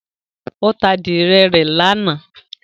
Ó ta adìyẹ rẹ̀ ní àná